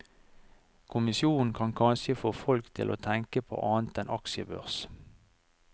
Kommisjonen kan kanskje få folk til å tenke på annet enn aksjebørs.